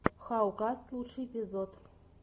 хау каст лучший эпизод